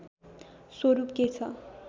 स्वरूप के छ